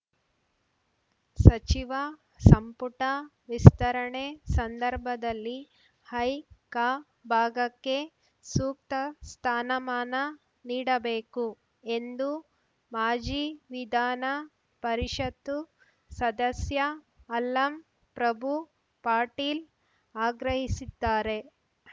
ಸಚಿವ ಸಂಪುಟ ವಿಸ್ತರಣೆ ಸಂದರ್ಭದಲ್ಲಿ ಹೈಕ ಭಾಗಕ್ಕೆ ಸೂಕ್ತ ಸ್ಥಾನ ಮಾನ ನೀಡಬೇಕು ಎಂದು ಮಾಜಿ ವಿಧಾನ ಪರಿಷತ್ತು ಸದಸ್ಯ ಅಲ್ಲಂ ಪ್ರಭು ಪಾಟೀಲ್‌ ಆಗ್ರಹಿಸಿದ್ದಾರೆ